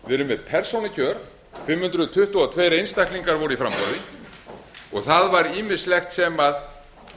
brautir við erum með persónukjör fimm hundruð tuttugu og tveir einstaklingar voru í framboði og það var